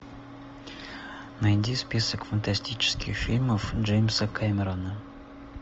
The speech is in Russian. найди список фантастических фильмов джеймса кэмерона